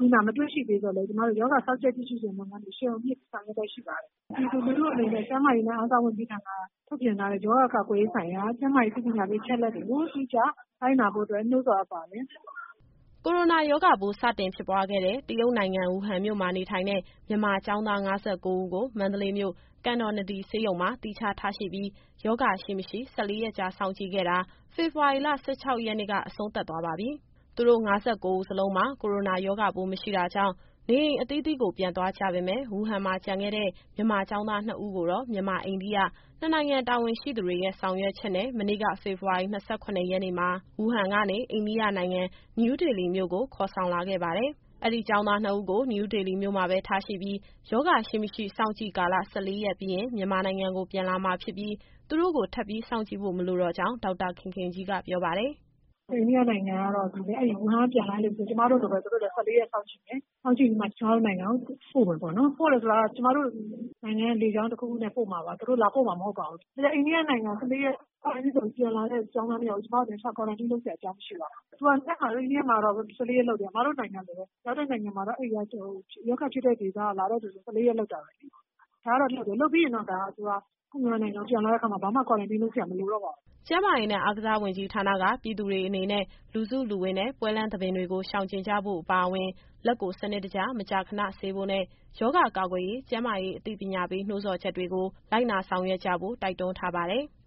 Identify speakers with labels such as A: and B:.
A: လူနာ မတွေ့ရှိသေးသော်လည်း ရောဂါစောင့်ကြပ် ကြည့်ရှုခြင်းလုပ်ငန်းတွေ အရှိန်အဟုန်မြှင့် ဆောင်ရွက်လျက်ရှိပါတယ်။ ပြည်သူလူထုအနေနဲ့ ကျန်းမာရေးနဲ့ အားကစားဝန်ကြီးဌာနက ထုတ်ပြန်ထားတဲ့ ရောဂါကာကွယ်ရေးဆိုင်ရာ ကျန်းမာရေးအသိပညာပေး အချက်အလက်တွေကို အတိအကျလိုက်နာဖို့အတွက် နှိုးဆော်အပ်ပါတယ်။”
B: ကိုရိုနာရောဂါပိုး စတင်ဖြစ်ပွားခဲ့တဲ့ တရုတ်နိုင်ငံ၊ ဝူဟန်မြို့မှာ နေထိုင်တဲ့ မြန်မာကျောင်းသား ၅၉ဦးကို မန္တလေးမြို့၊ ကန်တော်နဒီဆေးရုံမှာ သီးခြားထားရှိပြီး ရောဂါရှိ၊ မရှိ ၁၄ ရက်စောင့်ကြည့်ခဲ့တာ ဖေဖော်ဝါရီ ၁၆ရက်နေ့က အဆုံးသတ်သွားပါပြီ။ သူတို့ ၅၉ဦးစလုံးမှာ ကိုရိုနာရောဂါပိုးမရှိတာကြောင့် နေအိမ်အသီးသီးကို ပြန်သွားကြပေမယ့် ဝူဟန်မှာကျန်ခဲ့တဲ့ မြန်မာကျောင်းသားနှစ်ဦးကိုတော့ မြန်မာ- အိန္ဒိယ နှစ်နိုင်ငံတာဝန်ရှိသူတွေရဲ့ ဆောင်ရွက်ချက်နဲ့ မနေ့က ဖေဖော်ဝါရီ ၂၇ရက်နေ့မှာ ဝူဟန်ကနေ အိန္ဒိယနိုင်ငံ၊ နယူးဒေလီမြို့ကို ခေါ်ဆောင်လာခဲ့ပါတယ်။ အဲဒီကျောင်းသားနှစ်ဦးကို နယူးဒေလီမြို့မှာပဲ ထားရှိပြီး ရောဂါရှိ၊ မရှိစောင့်ကြည့်ကာလ ၁၄ရက်ပြီးရင် မြန်မာနိုင်ငံကိုပြန်လာမှာဖြစ်ပြီး သူတို့ကို ထပ်ပြီးစောင့်ကြည့်ဖို့ မလိုတော့ကြောင်း ဒေါက်တာခင်ခင်ကြီးက ပြောပါတယ်။
A: “အိန္ဒိယနိုင်ငံကတော့ အဲဒီဝူဟန်ကပြန်လာသူတွေကို ကျမတို့လိုပဲ သူတို့လည်း ၁၄ရက်စောင့်ကြည့်မယ်။ စောင့်ကြည့်ပြီးမှ ကျမတို့နိုင်ငံကို ပို့မယ်ပေါ့နော်။ ပို့တယ်ဆိုတာက ကျမတို့နိုင်ငံက လေကြောင်းတခုခုနဲ့ ပို့မှာပါ။ သူတို့လာပို့မှာ မဟုတ်ပါဘူး။ အိန္ဒိယနိုင်ငံမှာ ၁၄ ရက် စောင့်ကြည့်ပြီးမှ ပြန်လာမယ့်ကျောင်းသားနှစ်ယောက်ကို ကျမတို့အနေနဲ့ သီးခြား Quarantine လုပ်စရာ အကြောင်းမရှိပါဘူး။ သူတို့ကို အိန္ဒိယနိုင်ငံမှာ ၁၄ရက် Quarantine လုပ်တယ်၊ အစ်မတို့နိုင်ငံလိုပဲ။ ရောက်တဲ့နိုင်ငံတွေက ရောဂါဖြစ်ရာဒေသက လာတဲ့သူတွေကို ၁၄ရက်စောင့်ကြည့်တာပဲလေ။ လုပ်ပြီးရင်တော့ ကိုယ့်
B: မြန်မာနိုင်ငံကို ပြန်လာတဲ့
A: အခါမှာ ဘာမှ Quarantine လုပ်စရာ မလိုတော့ပါဘူး
B: ။” ကျန်းမာရေးနဲ့ အားကစားဝန်ကြီးဌာနက ပြည်သူတွေအနေနဲ့ လူစုလူဝေးနဲ့ ပွဲလမ်းသဘင်တွေကို ရှောင်ကြဉ်ကြဖို့အပါအဝင် လက်ကိုစနစ်တကျ မကြာခဏဆေးဖို့နဲ့ ရောဂါကာကွယ်ရေး ကျန်းမာရေးအသိပညာပေး နှိုးဆော်ချက်တွေကို လိုက်နာဆောင်ရွက်ကြဖို့ တိုက်တွန်းထားပါတယ်။